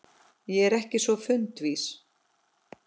Ég er ekki svo fundvís